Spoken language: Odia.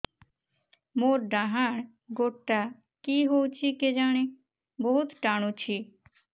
ମୋର୍ ଡାହାଣ୍ ଗୋଡ଼ଟା କି ହଉଚି କେଜାଣେ ବହୁତ୍ ଟାଣୁଛି